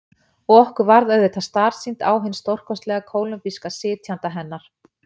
Og okkur varð auðvitað starsýnt á hinn stórkostlega kólumbíska sitjanda hennar.